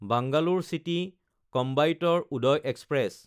Bangalore চিটি–কইম্বেটৰে Uday express